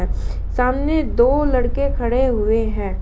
सामने दो लड़के खड़े हुए हैं।